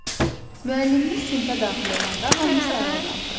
Müəllimimiz sinfə daxil olanda hamımız ayağa qalxırıq.